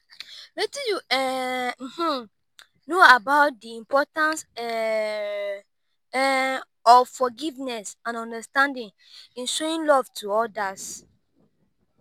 wetin you um know about di importance um of forgiveness and understanding in showing love to odas?